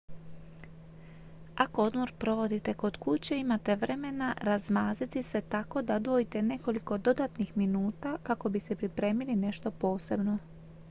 ako odmor provodite kod kuće imate vremena razmaziti se tako da odvojite nekoliko dodatnih minuta kako bi si pripremili nešto posebno